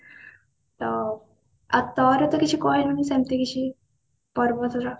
ଆଉ ଆଉ ତୋର ତ କିଛି କହିଲୁନି ସେମତି କିଛି ପର୍ବ